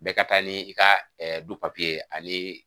Bɛɛ ka taa ni ka du papi ye ani